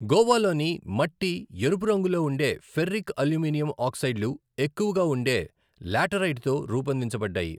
గోవాలోని మట్టి ఎరుపు రంగులో ఉండే ఫెర్రిక్ అల్యూమినియం ఆక్సైడ్లు ఎక్కువగా ఉండే లాటరైట్తో రూపొందించబడ్డాయి.